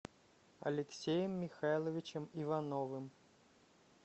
алексеем михайловичем ивановым